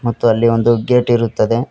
ಮತ್ತು ಅಲ್ಲಿ ಒಂದು ಗೇಟ್ ಇರುತ್ತದೆ.